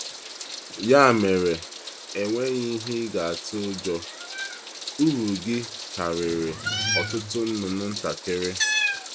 Ya mere, e nweghị ihe ị ga-atụ ụjọ: uru gị karịrị ọtụtụ nnụnụ ntakịrị.